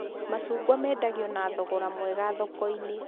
Macungwa mendagio na thogora mwega thoko-inĩ